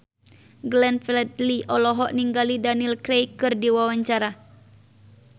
Glenn Fredly olohok ningali Daniel Craig keur diwawancara